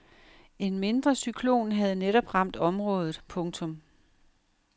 En mindre cyklon havde netop ramt området. punktum